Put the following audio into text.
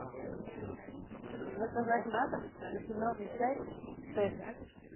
заказать на дом зеленый чай тесс